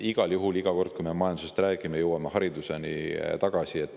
Igal juhul iga kord, kui me majandusest räägime, jõuame tagasi hariduse juurde.